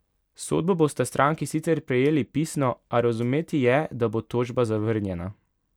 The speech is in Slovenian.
Sodbo bosta stranki sicer prejeli pisno, a razumeti je, da bo tožba zavrnjena.